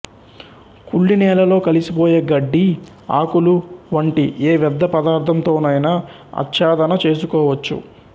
కుళ్ళి నేలలో కలిసిపోయే గడ్డి ఆకులు వంటి ఏ వ్యర్ధ పదార్ధంతోనైనా అచ్చాదన చేసుకోవచ్చు